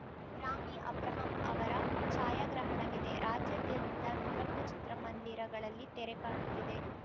ರಾಮಿ ಅಬ್ರಹಾಂ ಅವರ ಛಾಯಾಗ್ರಹಣವಿದೆ ರಾಜ್ಯಾದ್ಯಂತ ನೂರಕ್ಕೂ ಚಿತ್ರಮಂದಿರಗಳಲ್ಲಿ ತೆರೆ ಕಾಣುತ್ತಿದೆ